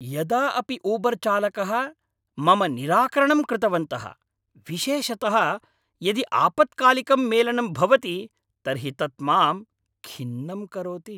यदा अपि ऊबर्चालकः मम निराकरणंकृतवन्तः, विशेषतः यदि आपत्कालिकं मेलनं भवति तर्हि तत् मां खिन्नं करोति।